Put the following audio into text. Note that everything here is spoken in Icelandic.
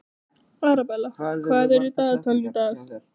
Arabella, hvað er í dagatalinu í dag?